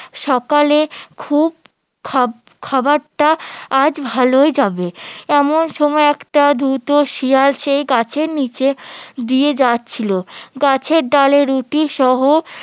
সকালে খুব খাবার~ খাবারটা আজ ভালোই হবে এমন সময় একটা ধূর্ত শিয়াল সেই গাছের নিচে দিয়ে যাচ্ছিলো গাছের ডালে রুটিসহ